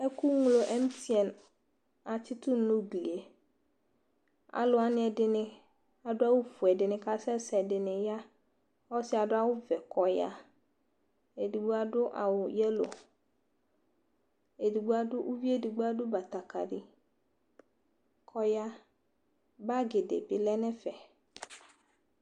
Ɛkʋŋlo ɛmtiɛn atsitʋ nʋ ugli yɛ Alʋwa niɛdini adʋ awʋ fue, ɛdini kasɛsɛ, ɛdini ya Ɔsi adʋ awʋ vɛ kɔya Edigbo adu awʋ yɛlo Edigbo adʋ, ʋvie edigbo adʋ batakali kɔya Bagi di bi lɛ nʋ ɛfɛ